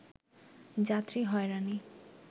যাত্রী হয়রানি